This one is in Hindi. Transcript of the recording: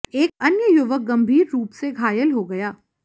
एक अन्य युवक गंभीर रूप से घायल हो गया